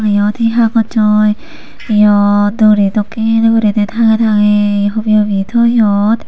yot hi hagojot yo duri dokken guri tangey tangey hubi hubi toyon.